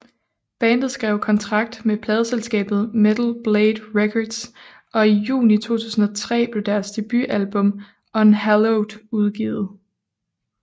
Bandet skrev kontrakt med pladeselskabet Metal Blade Records og i juni 2003 blev deres debutalbum Unhallowed udgivet